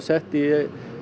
sett í